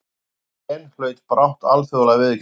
Orðið gen hlaut brátt alþjóðlega viðurkenningu.